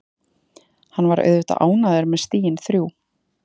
Hann var auðvitað ánægður með stigin þrjú.